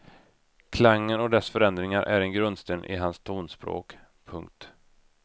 Klangen och dess förändringar är en grundsten i hans tonspråk. punkt